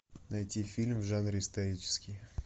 найти фильм в жанре исторический